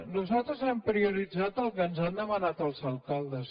nosaltres hem prioritzat el que ens han demanat els alcaldes